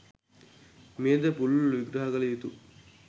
මෙයද පුළුල්ව විග්‍රහ කළ යුතු